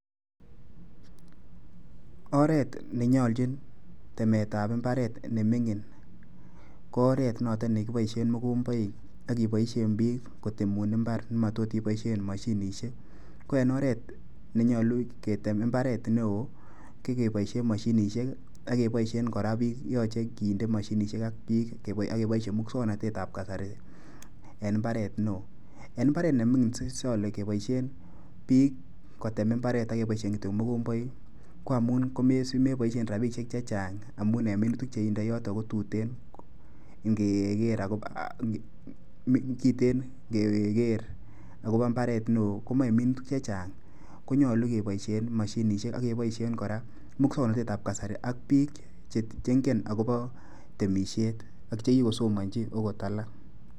Oret ne nyoljin temetab imbaret ne mining ko oret notok ne kiboisie mokomboik ak kebaisien piik kotemun imbar ne matot iboisie mashinishiek, ko en oret nenyolu ketem mbaret ne oo, ko keboisie mashinishiek ak keboisien kora piik, yoche kinde mashinishiek ak piik ak keboisie muswoknotetab kasari en mbaret ne oo, en mbaret ne mining so ole keboisien piik kotem imbaret ak keboisien kityo mokomboik, ko amun si meboisie rabiishiek che chaang amun en minutik che indoi yoto ko tuten ngeker akobo mbaret ne oo komoche minutik che chang, konyolu keboisie mashinisiek ak keboisien kora muswoknotetab kasari ak piik che ngen akobo temisiet ak che kikosomonji ogot alak.